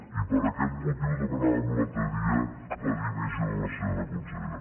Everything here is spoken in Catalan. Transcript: i per aquest motiu demanàvem l’altre dia la dimissió de la senyora consellera